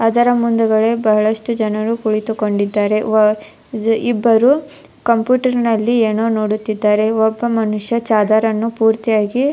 ಅದರ ಮುಂದುಗಡೆ ಬಹಳಷ್ಟು ಜನರು ಕುಳಿತುಕೊಂಡಿದ್ದಾರೆ ಇಬ್ಬರು ಕಂಪ್ಯೂಟರಿ ನಲ್ಲಿ ಏನೊ ನೋಡುತ್ತಿದ್ದಾರೆ ಒಬ್ಬ ಮನುಷ್ಯ ಚಾದರನು ಪೂರ್ತಿಯಾಗಿ --